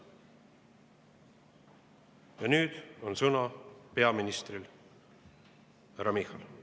Ja nüüd on sõna peaministril härra Michalil.